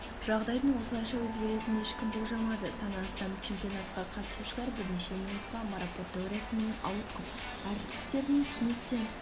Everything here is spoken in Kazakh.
жағдайдың осылайша өзгеретінін ешкім болжамады саны астам чемпионатқа қатысушылар бірнеше минутқа марапаттау рәсімінен ауытқып әріптестерініңә кенеттен